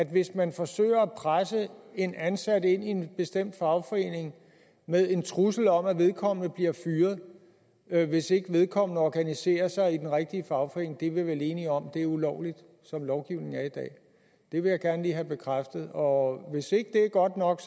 hvis man forsøger at presse en ansat ind i en bestemt fagforening med en trussel om at vedkommende bliver fyret hvis ikke vedkommende organiserer sig i den rigtige fagforening så er vi vel enige om at det er ulovligt som lovgivningen er i dag det vil jeg gerne lige have bekræftet og hvis ikke det er godt nok